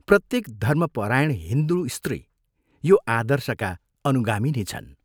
प्रत्येक धर्मपरायण हिन्दू स्त्री यो आदर्शका अनुगामिनी छन्।